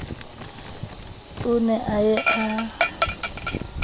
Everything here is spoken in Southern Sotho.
o ne a ye a